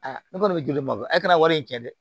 Aa ne kɔni bɛ joli ma bɔ a kana wari in tiɲɛ dɛ